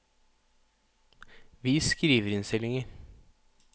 vis skriverinnstillinger